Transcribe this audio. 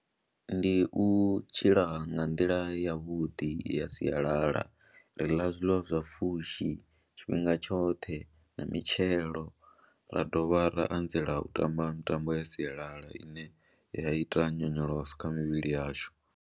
Ndi u tshila nga nḓila yavhuḓi i ya sialala, ri ḽa zwiḽiwa zwa pfhushi tshifhinga tshoṱhe na mitshelo ra dovha ra anzela u tamba mitambo ya sialala ine ya ita nyonyoloso kha mivhili yashu.